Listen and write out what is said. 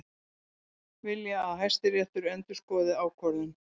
Vilja að Hæstiréttur endurskoði ákvörðun